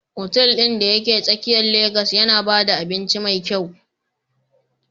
Otal ɗin da ke tsakiyar Legas yana ba da abinci mai kyau